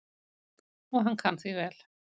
Og hann kann því vel.